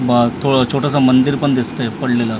ब थोडं छोटंसं मंदिर पण दिसतंय पडलेलं असं .